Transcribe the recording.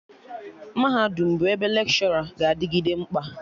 Mahadum bụ ebe Lekshọra ga-adịgịde mkpa